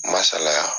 Ma salaya